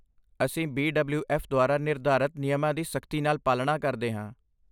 ਅਸੀਂ B W F ਦੁਆਰਾ ਨਿਰਧਾਰਤ ਨਿਯਮਾਂ ਦੀ ਸਖਤੀ ਨਾਲ ਪਾਲਣਾ ਕਰਦੇ ਹਾਂ।